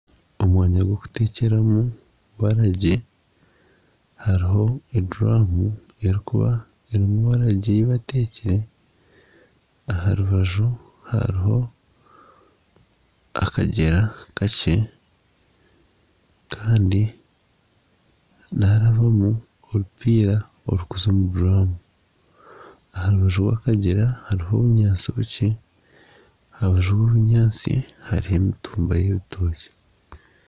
Omwanya gw'okuteekyeramu waragi hariho eduraamu erikuba ei bateekire. Aha rubaju hariho akagyera kakye. Kandi niharabamu orupiira orukuza omu duraamu. Aha rubaju rw'akagyera hariho obunyaatsi bukye. Aha rubaju rw'obunyaatsi hariho emitumba y'ebitookye.